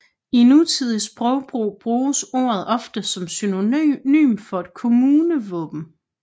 I nutidig sprogbrug bruges ordet ofte som synonym for et kommunevåben